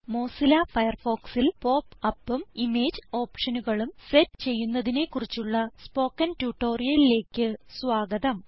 Mozilla Firefoxൽ pop upഉം image ഓപ്ഷനുകളും സെറ്റ് ചെയ്യുന്നതിനെ കുറിച്ചുള്ള സ്പോക്കൺ ട്യൂട്ടോറിയലിലേക്ക് സ്വാഗതം